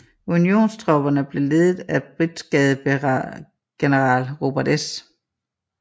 Unionstropperne blev ledet af brigadegeneral Robert S